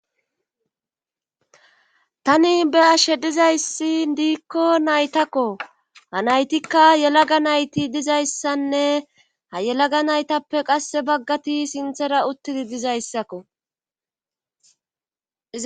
tani be ashe dizayssi diikko naytakko ha naytikka yelaga nayti dizayssanne ha yelaga naytappe qasse baggati sinthera uttidi dizayssakko